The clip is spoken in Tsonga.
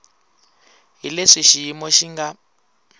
hi leswi xiyimo xi nga